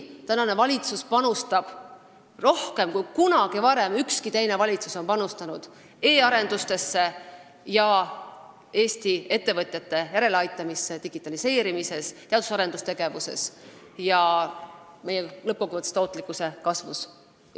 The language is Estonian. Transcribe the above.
Tänane valitsus panustab rohkem, kui ükski teine valitsus kunagi varem on panustanud, e-arendustesse ja Eesti ettevõtete järeleaitamisse digitaliseerimises, teadus- ja arendustegevuses ning lõppkokkuvõttes tootlikkuse kasvus.